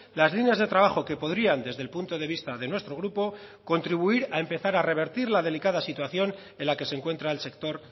las líneas de trabajo que podrían desde el punto de vista de nuestro grupo contribuir a empezar a revertir la delicada situación en la que se encuentra el sector